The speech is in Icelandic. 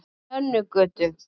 Nönnugötu